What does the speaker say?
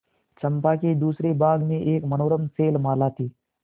चंपा के दूसरे भाग में एक मनोरम शैलमाला थी